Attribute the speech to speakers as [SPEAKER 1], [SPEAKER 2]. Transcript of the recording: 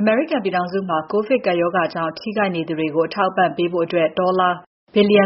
[SPEAKER 1] အမေရိကန်ပြည်ထောင်စုမှာ ကိုဗစ်ကပ်ရောဂါကြောင့် ထိခိုက်နေသူတွေကို အထောက်အပံ့ပေးဖို့ ဒေါ်လာ ၉၀၀ ဘီလီယံ